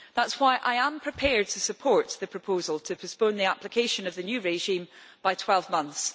That is why I am prepared to support the proposal to postpone the application of the new regime by 12 months.